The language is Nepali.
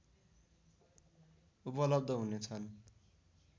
उपलब्ध हुने छन्